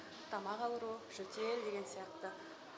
тамақ ауруы жөтеел деген сияқты